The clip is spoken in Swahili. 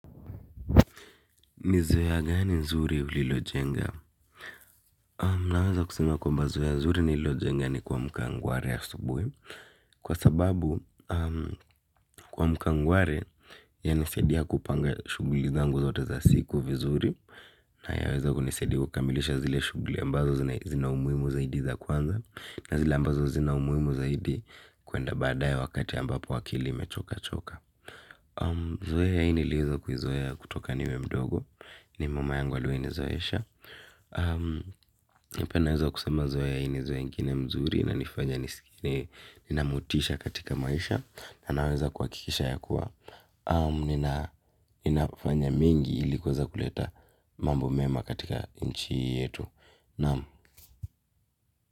Ni zoea gani nzuri ulilo jenga? Naweza kusime kwamba zoea nzuri nililojenga ni kuamka ngwari asubui kwa sababu kuamka ngwari yanisadia kupanga shuguli zangu zote za siku vizuri na yaweza kunisadia kukamilisha zile shuguli ambazo zina umuimu zaidi za kwanza na zile ambazo zina umuimu zaidi kuenda baada ya wakati ambapo akili imechoka choka. Zoea hii nilieza kuzoea kutoka niwe mdogo. Ni mama yangu alue nizoeesha. Nipena wezo kusema zoya yaini zoyengine mzuri na nifanya nisikini. Ninamutisha katika maisha na naweza kuwakikisha ya kuwa ninapofanya mengi ilikuweza kuleta mambo mema katika ichi hii yetu.